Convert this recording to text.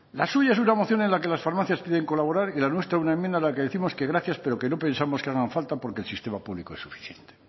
la suya es una moción en la que las farmacias piden colaborar y la nuestra una enmienda en la que décimos que gracias pero que no pensamos que hagan falta porque el sistema público es suficiente